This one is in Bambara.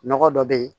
Nɔgɔ dɔ be yen